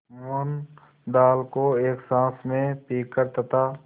मोहन दाल को एक साँस में पीकर तथा